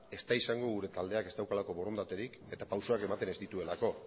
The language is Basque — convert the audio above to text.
ez da izango gure taldeak ez daukalako borondaterik eta pausuak ematen ez dituelako